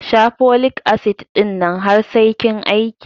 Sha folik asid ɗin nan har sai kin aiki